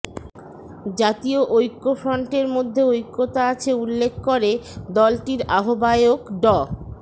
জাতীয় ঐক্যফ্রন্টের মধ্যে ঐক্যতা আছে উল্লেখ করে দলটির আহ্বায়ক ড